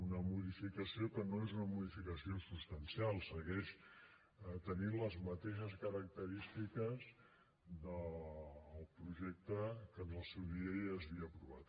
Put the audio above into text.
una modificació que no és una modificació substancial segueix tenint les mateixes característiques del projecte que en el seu dia ja s’havia aprovat